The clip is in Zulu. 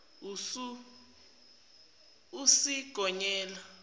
usigonyela